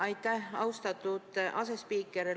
Aitäh, austatud asespiiker!